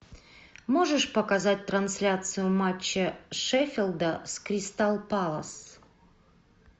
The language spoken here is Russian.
можешь показать трансляцию матча шеффилда с кристал пэлас